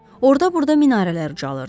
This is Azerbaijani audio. Orda-burda minarələr ucalırdı.